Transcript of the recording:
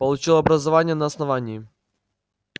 получил образование на основании